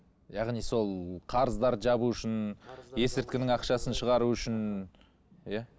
яғни сол қарыздарды жабу үшін есірткінің ақшасын шығару үшін иә